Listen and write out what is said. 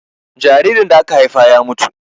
jaririn da aka Haifa ya mutu